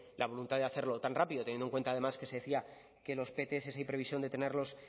la voluntad de hacerlo tan rápido teniendo en cuenta además que se decía que los pts hay previsión de tenerlos